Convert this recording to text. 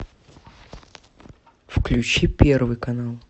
включи первый канал